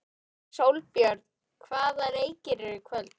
Sólbjörn, hvaða leikir eru í kvöld?